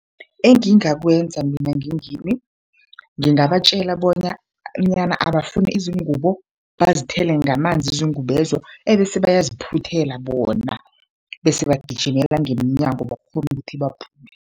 Engingakwenza mina ngingimi, ngingabatjela bona nyana abafune izingubo bazithele ngamanzi izingubezo, bese bayaziphuthela bona bese bagijimela ngemnyango bakghone ukuthi baphume.